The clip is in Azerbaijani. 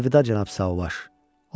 Əlvida cənab Sauvaj.